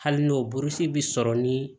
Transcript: Hali n'o burusi bi sɔrɔ ni